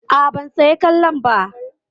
A'a ban saya kollon ba.